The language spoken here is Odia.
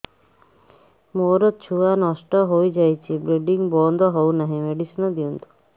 ମୋର ଛୁଆ ନଷ୍ଟ ହୋଇଯାଇଛି ବ୍ଲିଡ଼ିଙ୍ଗ ବନ୍ଦ ହଉନାହିଁ ମେଡିସିନ ଦିଅନ୍ତୁ